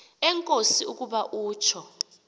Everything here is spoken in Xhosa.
enkosi ukuba utsho